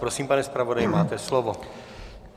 Prosím, pane zpravodaji, máte slovo.